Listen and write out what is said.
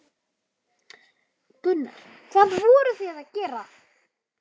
Gunnar: Hvað voruð þið að gera?